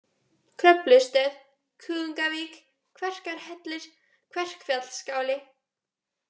Kröflustöð, Kuðungavík, Kverkarhellir, Kverkfjallaskáli